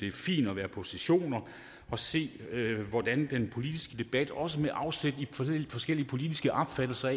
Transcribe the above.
er fint at være på sessioner og se hvordan den politiske debat også med afsæt i forskellige politiske opfattelser